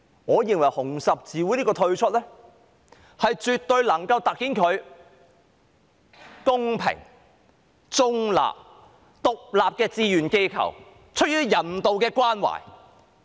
我認為紅十字會今次退出，絕對可以突顯它是公平、中立、獨立的志願機構，出於人道的關懷。